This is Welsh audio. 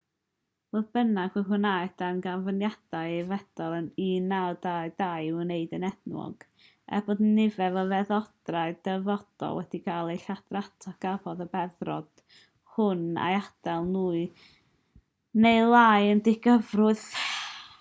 fodd bynnag fe wnaeth darganfyddiad ei feddrod ym 1922 ei wneud yn enwog er bod nifer o feddrodau'r dyfodol wedi cael eu lladrata cafodd y beddrod hwn ei adael mwy neu lai yn ddigyffwrdd